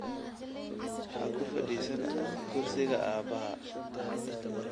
Ha ku fadhiisan kursiga aabbahaa